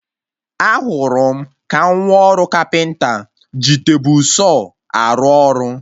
Ahụrụ m ka nwa ọrụ kapịnta ji tebụl Saw arụ ọrụ